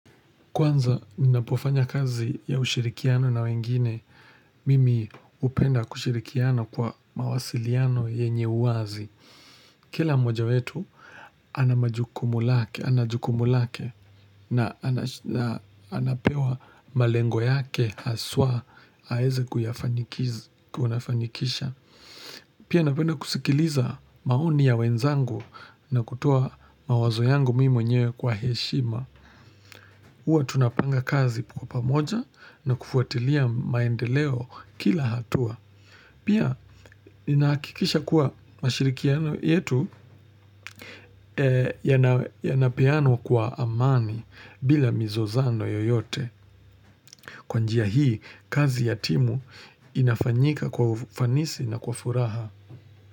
Kwanza ninapofanya kazi ya ushirikiano na wengine, mimi hupenda kushirikiano kwa mawasiliano yenye uwazi. Kila moja wetu, ana majukumu yake, ana jukumu lake, na anapewa malengo yake, haswa, aweze kuyafanikisha. Pia napenda kusikiliza maoni ya wenzangu na kutoa mawazo yangu mimi mwenyewe kwa heshima. Huwa tunapanga kazi kwa pamoja na kufuatilia maendeleo kila hatua. Pia, ninahakikisha kuwa mashirikiano yetu yanapeanwa kwa amani bila mizozano yoyote. Kwa njia hii, kazi yatimu inafanyika kwa ufanisi na kwa furaha.